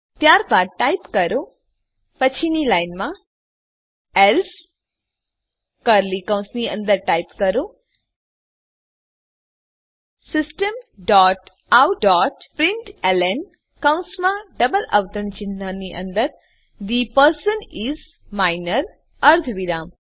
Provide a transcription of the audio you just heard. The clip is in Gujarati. ત્યારબાદ ટાઈપ કરો પછીની લાઈનમાં એલ્સે કર્લી કૌંસની અંદર ટાઈપ કરો system dot out dot println કૌંસમાં ડબલ અવતરણ ચિહ્નની અંદર થે પર્સન ઇસ માઇનર અર્ધવિરામ